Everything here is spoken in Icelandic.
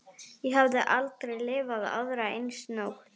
Ég hafði aldrei lifað aðra eins nótt.